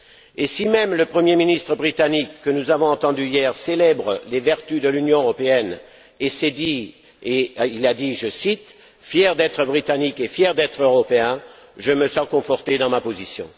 Et si même le Premier ministre britannique, que nous avons entendu hier, célèbre les vertus de l'Union européenne, déclarant, je cite fier d'être Britannique et fier d'être Européen, je me sens conforté dans ma position.